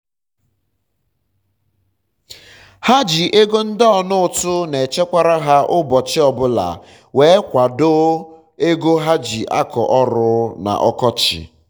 ha ji ego ndị ọna ụtụ na echekwara ha ụbọchi obụla were kwado ego ha ji akọ ọrụ na-ọkọchị